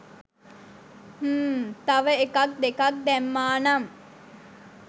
හ්ම්ම් තව එකක් දෙකක් දැම්මා නම්?